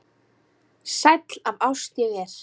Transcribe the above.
Sæll af ást ég er.